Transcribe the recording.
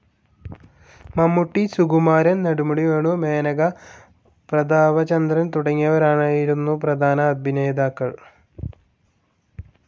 മമ്മൂട്ടി, സുകുമാരൻ, നെടുമുടി വേണു, മേനക, പ്രതാപചന്ദ്രൻ തുടങ്ങിയവരായിരുന്നു പ്രധാന അഭിനേതാക്കൾ.